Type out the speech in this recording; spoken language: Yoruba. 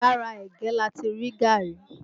Lára ẹ̀gẹ́ láti rí gaàrí